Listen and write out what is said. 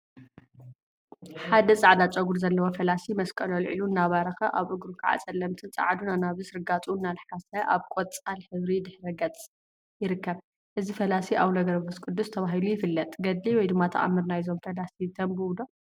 ሓደ ፃዕዳ ጨጉሪ ዘለዎ ፈላሲ መስቀሉ አልዒሉ እናባረኸ አብ እግሩ ከዓ ፀለምቲን ፃዕዱን አናብስ ርጋፁ እናለሓሰ አብ ቆፃል ሕብሪ ድሕረ ገፅ ይርከብ፡፡ እዚ ፈላሲ አቡነ ገብረ መንፈስ ቅዱስ ተባሂሉ ይፍለጥ፡፡ ገድሊ/ተአምር/ ናይዞም ፈላሲ ተንብቡ ዶ?